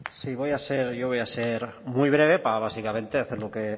sí voy a ser yo voy a ser muy breve para básicamente hacer